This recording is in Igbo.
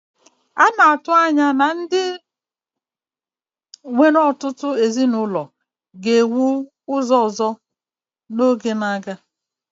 A na-atụ anya na ụlọ ndị nwere ọtụtụ ezinụlọ ga-ewu ewu ọzọ ka oge na-aga.